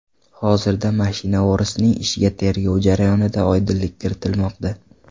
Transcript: Hozirda mashina o‘g‘risining ishiga tergov jarayonida oydinlik kiritilmoqda.